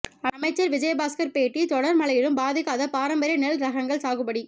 அமைச்சர் விஜயபாஸ்கர் பேட்டி தொடர் மழையிலும் பாதிக்காத பாரம்பரிய நெல் ரகங்கள் சாகுபடி